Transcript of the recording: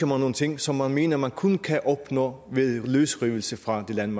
nogle ting som man mener man kun kan opnå ved løsrivelse fra den